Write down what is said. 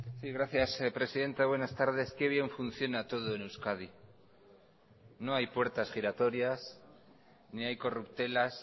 sí gracias presidenta buenas tardes qué bien funciona todo en euskadi no hay puertas giratorias ni hay corruptelas